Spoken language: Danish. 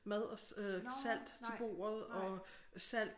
Mad og øh salt til bordet og salt